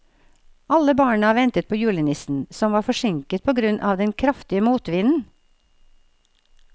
Alle barna ventet på julenissen, som var forsinket på grunn av den kraftige motvinden.